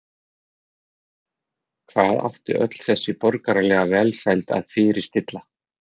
Hvað átti öll þessi borgaralega velsæld að fyrirstilla?